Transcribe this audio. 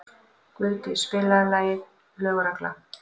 Guðdís, spilaðu lagið „Lög og regla“.